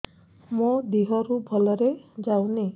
ମୋ ଦିହରୁ ଭଲରେ ଯାଉନି